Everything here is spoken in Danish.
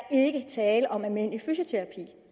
tale om almindelig fysioterapi at